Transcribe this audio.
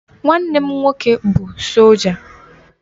Nwanne m nwoke bụ sọlja